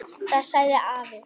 Það sagði afi.